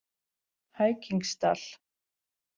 Hækingsdal